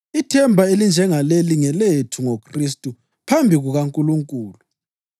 Ithemba elinjengaleli ngelethu ngoKhristu phambi kukaNkulunkulu.